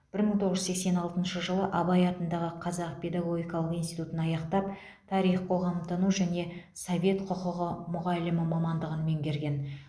бір мың тоғыз жүз сексен алтыншы жылы абай атындағы қазақ педагогикалық институтын аяқтап тарих қоғамтану және совет құқығы мұғалімі мамандығын меңгерген